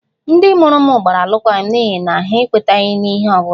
Ndị mụrụ m gbara alụkwaghịm n'ihi na ha ekwetaghị ihe ọ bụla